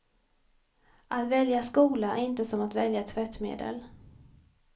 Att välja skola är inte som att välja tvättmedel.